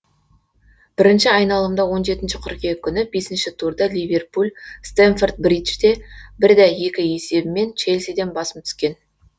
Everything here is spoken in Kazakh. бірінші айналымда он жетінші қыркүйек күні бесінші турда ливерпуль стэмфорд бриджде бірде екі есебімен челсиден басым түскен